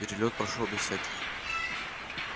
перелёт прошёл без всяких